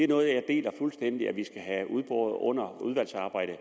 noget jeg er fuldstændig enig vi skal have udboret under udvalgsarbejdet